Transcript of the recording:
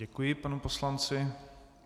Děkuji panu poslanci.